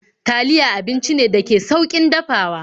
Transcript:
Taliya abinci ne dake da saukin dafawa